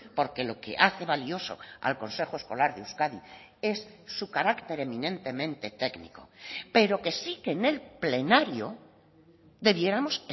porque lo que hace valioso al consejo escolar de euskadi es su carácter eminentemente técnico pero que sí que en el plenario debiéramos